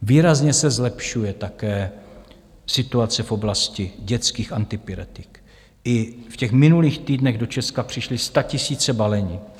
Výrazně se zlepšuje také situace v oblasti dětských antipyretik, i těch v minulých týdnech do Česka přišly statisíce balení.